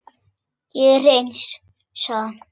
Ég er eins, sagði hann.